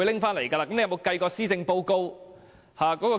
他應該不會抽起施政報告辯論吧？